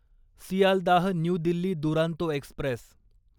Sealdah new Delhi Duronto Express